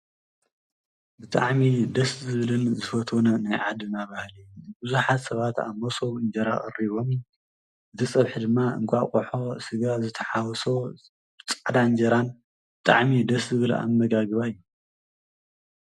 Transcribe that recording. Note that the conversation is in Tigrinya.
ብጣዕሚ ደስ ዝብልን ዝፈውትዎን ናይ ዓድና ባህሊ ቡዝሓት ሰባት ኣብ መሶብ እንጀራ ቀሪቦም እቲ ፀብሒ ድማ እንቃቆሖ ስጋን ዝተሓዎሶ ፃዕዳ እንጀራን ብጣዕሚ ደስ ዝብል ኣመጋግባ እዩ::